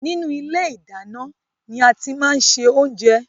Inú ilé ìdáná ni a ti máa ń ṣe oúnjẹ.